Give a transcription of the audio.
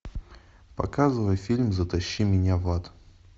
показывай фильм затащи меня в ад